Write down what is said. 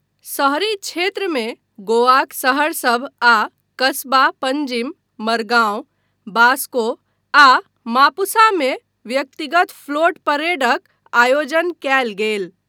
शहरी क्षेत्रमे गोवाक शहरसभ आ कस्बा पंजीम, मरगांव, वास्को आ मापुसा मे व्यक्तिगत फ्लोट परेडक आयोजन कयल गेल।